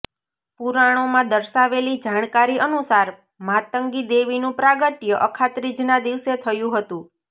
પુરાણોમાં દર્શાવેલી જાણકારી અનુસાર માતંગી દેવીનું પ્રાગટ્ય અખાત્રીજના દિવસે થયું હતું